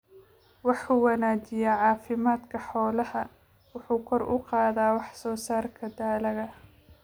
Wuxuu wanaajiyaa caafimaadka xoolaha, wuxuuna kor u qaadaa wax soo saarka dalagga.